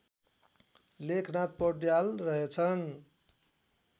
लेखनाथ पौड्याल रहेछन्